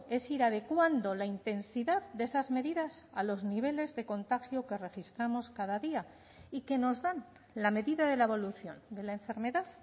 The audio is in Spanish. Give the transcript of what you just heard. es ir adecuando la intensidad de esas medidas a los niveles de contagio que registramos cada día y que nos dan la medida de la evolución de la enfermedad